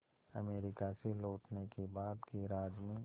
America से लौटने के बाद गैराज में